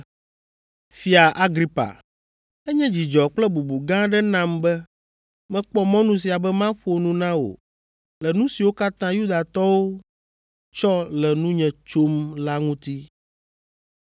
“Fia Agripa, enye dzidzɔ kple bubu gã aɖe nam be mekpɔ mɔnu sia be maƒo nu na wò le nu siwo katã Yudatɔwo tsɔ le nunye tsom la ŋuti,